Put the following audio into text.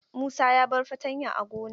Musa ya bar fatanya a gona.